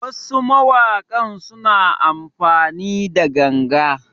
Wasu mawakan suna amfani da ganga